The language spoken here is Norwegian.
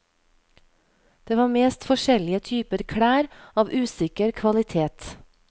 Det var mest forskjellige typer klær av usikker kvalitet.